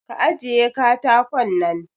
Ka ajiye katakon nan!